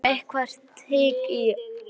Þá kom eitthvert hik á hana.